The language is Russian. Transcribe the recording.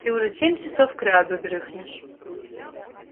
ты уже семь часов кряду дрыхнешь